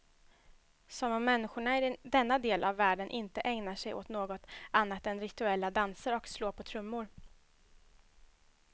Som om människorna i denna del av världen inte ägnar sig åt något annat än rituella danser och slå på trummor.